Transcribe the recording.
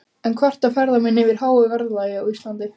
En kvarta ferðamenn yfir háu verðlagi á Íslandi?